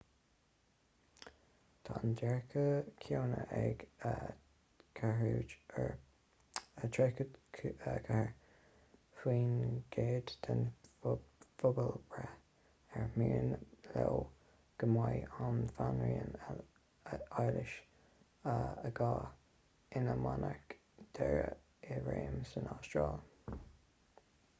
tá an dearcadh céanna ag 34 faoin gcéad den phobalbhreith ar mian leo go mbeidh an bhanríon éilis ii ina monarc deiridh i réim san astráil